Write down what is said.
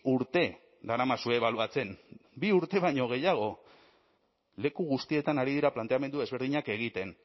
urte daramazue ebaluatzen bi urte baino gehiago leku guztietan ari dira planteamendu desberdinak egiten